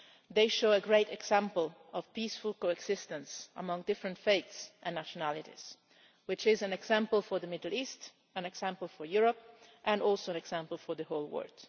They show a great example of peaceful coexistence among different faiths and nationalities, which is an example for the Middle East, an example for Europe and also an example for the whole world.